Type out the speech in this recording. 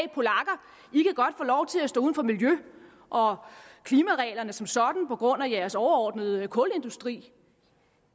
godt få lov til at stå uden for miljø og klimareglerne som sådan på grund af jeres overordnede kulindustri